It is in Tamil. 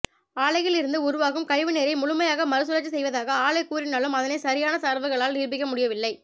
ஆலையில் இருந்து உருவாகும் கழிவு நீரை முழுமையாக மறுசுழற்சி செய்வதாக ஆலை கூறினாலும் அதனை சரியான தரவுகளால் நிரூபிக்க முடியவில்லை